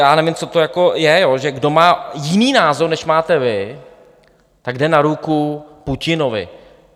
Já nevím, co to jako je, že kdo má jiný názor, než máte vy, tak jde na ruku Putinovi.